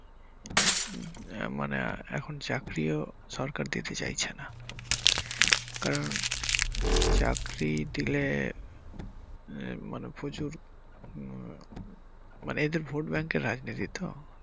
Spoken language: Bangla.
আহ মানে এখন চাকরিও সরকার দিতে চাইছে না কারণ চাকরি দিলে আহ মানে প্রচুর উম মানে এদের ভোট ব্যাংকের রাজনীতি তো।